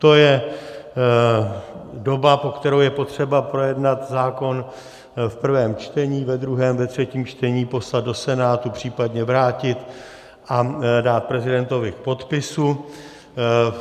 To je doba, po kterou je potřeba projednat zákon v prvém čtení, ve druhém, ve třetím čtení, poslat do Senátu, případně vrátit a dát prezidentovi k podpisu.